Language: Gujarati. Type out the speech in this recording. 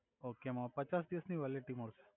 ઓકે એમા પચાસ દિવસ ની વેલિટી મળસે